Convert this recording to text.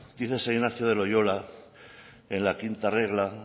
dice san ignacio de loyola en la quinta regla